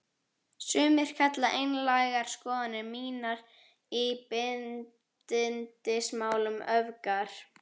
Sumir kalla einlægar skoðanir mínar í bindindismálum öfgar.